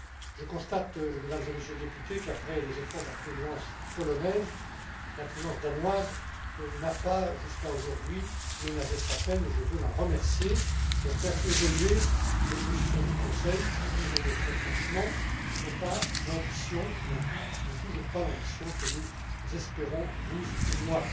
Je constate, Mesdames et Messieurs les députés, qu'après les efforts de la Présidence polonaise, la Présidence danoise n'a pas, jusqu'à aujourd'hui, ménagé sa peine et je veux l'en remercier pour faire évoluer les positions du Conseil qui, disons le très franchement, n'ont toujours pas l'ambition que nous espérons vous et moi.